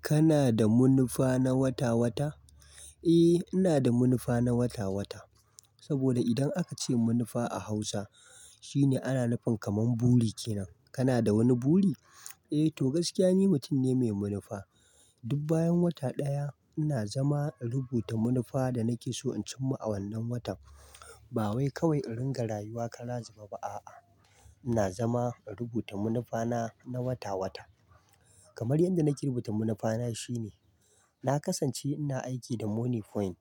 Kana da manufa na wata wata? Eh, ina da manufa na wata wata. Saboda idan aka ce manufa a Hausa, shine ana nufin kaman buri kenan. Kana da wani buri? Eh to gaskiya ni mutum ne mai manufa. Duk bayan wata ɗaya ina zama in rubuta manufa da nake so in cimma a wannan watan. Ba wai kawai in ringa rayuwa kalazaba ba a'a. Ina zama in rubuta munifana na wata wata. Kamar yadda nake rubuta manufana shine, na kasance ina aiki da Money Point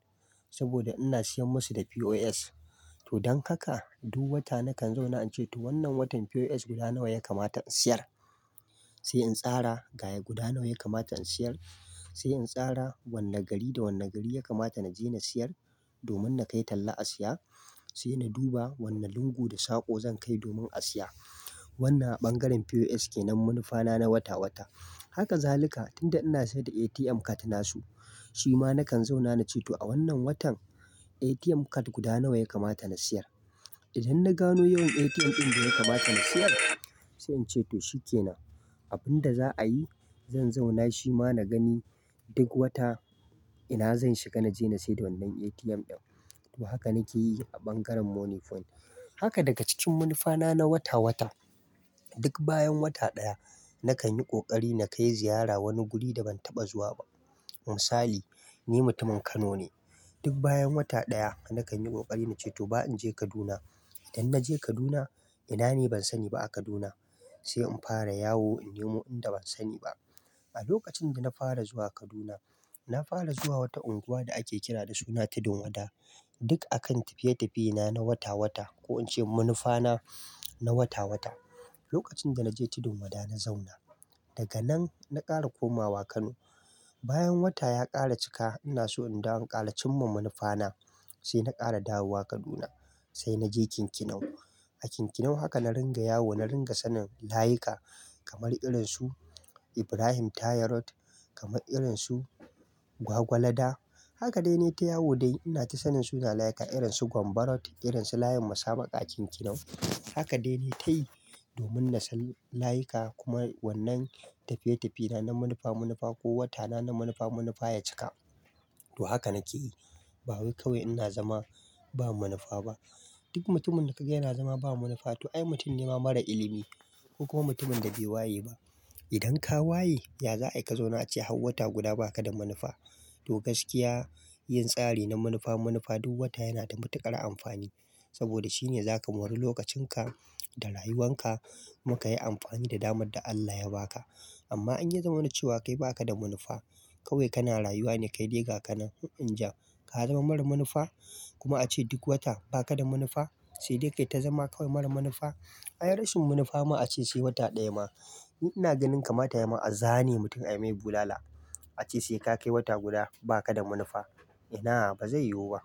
saboda ina siyan musu da POS. To don haka duk wata nakan zauna ince to wannan watan POS guda nawa ya kamata in siyar? Sai in tsara ga guda nawa ya kamata in siyar? Sai in tsara wane gari da wane gari ya kamata na je na siyar domin na kai talla a siya. Sai na duba wannan lungu da saƙo zan kai domin a siya. Wannan a ɓangaren POS kenan munifana na wata wata. Haka zalika tunda ina sayar da ATM card nasu, shi ma nakan zauna na ce to a wannan watan ATM card guda nawa ya kamata na siyar? Idan na gano yawan ATM ɗin da ya kamata na siyar sai in ce to shi ke nan. Abin da za'a yi, zan zauna shi ma na gani duk wata ina zan shiga na je na saida wannan ATM ɗin. To haka nake yi a ɓangaren Money Point. Haka daga cikin munifana na wata wata, duk bayan wata ɗaya nakan yi ƙoƙari na kai ziyara wani guri da ban taɓa zuwa ba. Misali, ni mutumin Kano ne. Duk bayan wata ɗaya nakan yi kokari na ce to ba in je Kaduna. Idan na je Kaduna, ina ne ban sani ba a Kaduna. Sai in fara yawo in nemo inda ban sani ba. A lokacin da na fara zuwa Kaduna, na fara zuwa wata unguwa da ake kira da suna Tudun Wada. Duk akan tafiye-tafiye na na wata wata ko in ce manufana na wata wata. Lokacin da na je Tudun Wada na zauna, daga nan na ƙara komawa Kano. Bayan wata ya ƙara cika ina so in dawo ƙaracimma manufana, sai na ƙara dawowa Kaduna sai na je Kikinau. A Kikinau haka na ringa yawo na ringa sanin layuka kamar irin su Ibrahim Tayarot, kamar irin su Gwagwalada. Haka dai ne ta yawo dai ina ta sanin suna layuka irin su Gwanbarot, irin su layin Masaba a Kikinau. Haka dai ne ta yi domin na san layuka kuma wannan tafiye-tafiye na na munifa munifa ko wata na na munifa munifa ya cika. To haka nake yi ba wai kawai ina zama ba manufa ba. Duk mutumin da kaga yana zama ba munifa to ai mutum ne mara ilimi ko kuma mutumin da bai waye ba. Idan ka waye, ya za'a i ka zauna ace har wata guda baka da manufa. To gaskiya yin tsari na manufa manufa duk wata yana da matuƙar amfani saboda shine zaka mori lokacin ka da rayuwan ka kuma kayi amfani da damar da Allah ya ba ka. Amma in ya zama na cewa kai baka da manufa, kawai kana rayuwa ne kai dai ga ka nan. In ja, ka zama mara manufa kuma ace duk wata baka da manufa sai dai kai ta zama kawai mara manufa. Ai rashin munifa ma ace sai wata ɗaya ma. Ina ganin kamata ya ma a zane mutum a yi mai bulala. Ace sai ka kai wata guda baka da manufa. Ina ba zai yiwu ba.